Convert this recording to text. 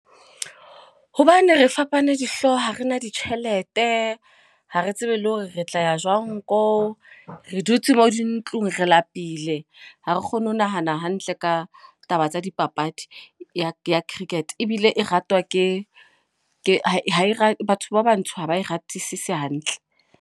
Hobane re fapane dihlooho, ha re na ditjhelete. Ha re tsebe le hore re tla ya jwang koo. Re dutse mo di ntlong, re lapile. Ha re kgone ho nahana hantle ka taba tsa dipapadi ya ya Cricket. Ebile e ratwa ke ke ha e batho ba bantsho, ha ba ratisise hantle.